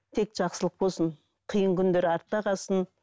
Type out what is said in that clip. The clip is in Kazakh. тек жақсылық болсын қиын күндер артта қалсын